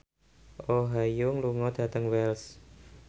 Oh Ha Young lunga dhateng Wells